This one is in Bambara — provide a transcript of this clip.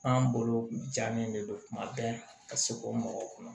An bolo jalen de don kuma bɛɛ ka se k'o mɔgɔw kɔnɔ